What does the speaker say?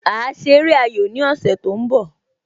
A ṣe eré ayò ní ọ̀sẹ̀ tó ń bọ